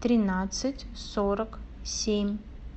тринадцать сорок семь